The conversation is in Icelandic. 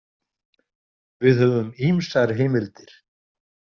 Við höfum ýmsar heimildir.